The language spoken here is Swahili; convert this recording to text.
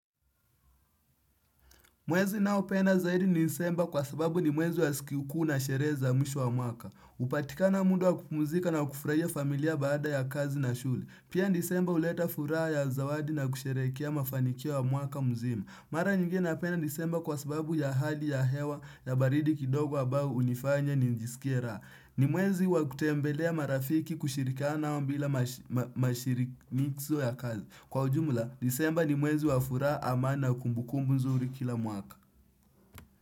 Mwezi naopenda zaidi ni disemba kwa sababu ni mwezi wa sikikuu na sherehe za misho wa mwaka. Hupatikana muda wa kupumzika na kufurahia familia baada ya kazi na shule. Pia disemba huleta furaha ya zawadi na kusherekea mafanikio ya mwaka mzima. Mara nyingi napenda disemba kwa sababu ya hali ya hewa ya baridi kidogo ambao hunifanya nijisikie raha. Ni mwezi wa kutembelea marafiki kushirikiana nao bila mashirikizo ya kazi. Kwa ujumula, disemba ni mwezi wa furaha amani na kumbukumbu mzuri kila mwaka.